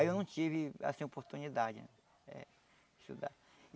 Aí eu não tive essa oportunidade, né? Estudar